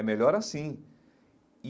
É melhor assim e.